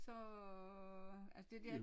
Så altså det der